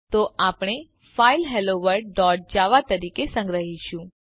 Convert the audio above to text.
તો આપણે file hello world dot Java તરીકે સંગ્રહીશું